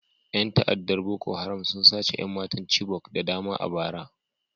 Yan ta'addar Boko Haram sun sace 'yan matan Chibok da dama a bara